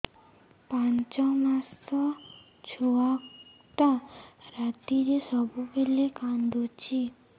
ପାଞ୍ଚ ମାସ ଛୁଆଟା ରାତିରେ ସବୁବେଳେ କାନ୍ଦୁଚି